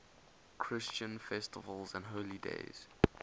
christian festivals and holy days